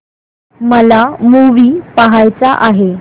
मला मूवी पहायचा आहे